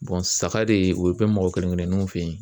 saga de o ye bɛn mɔgɔ kelen kelenninw fɛ yen.